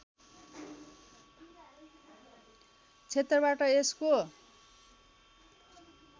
क्षेत्रबाट यसको